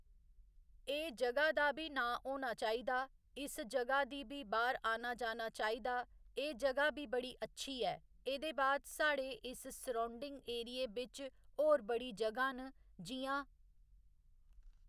एह् जगह् दा बी नांऽ होना चाहिदा इस जगह् दी बी बाह्‌र आना जाना चाहिदा एह् जगह् बी बड़ी अच्छी ऐ एह्दे बाद साढ़े इस सरौडिंग एरिये बिच होर बड़ी जगहा न जि'यां